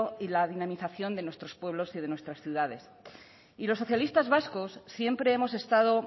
y la dinamización de nuestros pueblos y de nuestras ciudades y los socialistas vascos siempre hemos estado